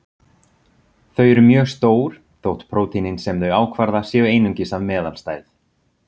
Þau eru mjög stór, þótt prótínin sem þau ákvarða séu einungis af meðalstærð.